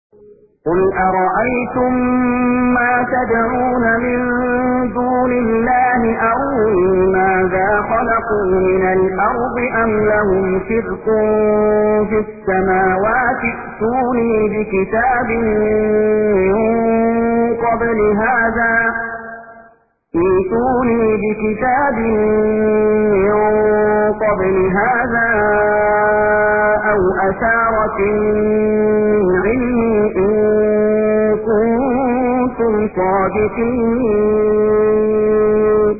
قُلْ أَرَأَيْتُم مَّا تَدْعُونَ مِن دُونِ اللَّهِ أَرُونِي مَاذَا خَلَقُوا مِنَ الْأَرْضِ أَمْ لَهُمْ شِرْكٌ فِي السَّمَاوَاتِ ۖ ائْتُونِي بِكِتَابٍ مِّن قَبْلِ هَٰذَا أَوْ أَثَارَةٍ مِّنْ عِلْمٍ إِن كُنتُمْ صَادِقِينَ